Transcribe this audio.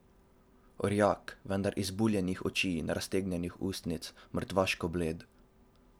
Orjak, vendar izbuljenih oči in raztegnjenih ust, mrtvaško bled.